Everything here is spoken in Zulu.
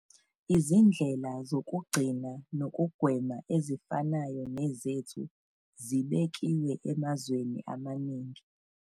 Izindlela zokugcina nokugwema ezifanayo nezethu zibekiwe emazweni amaningi.